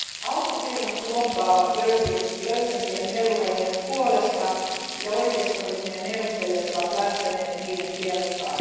Autofirmat lobbaavat löysempien melurajojen puolesta, ja oikeistoryhmien neuvottelijat ovat lähteneet niiden kelkkaan.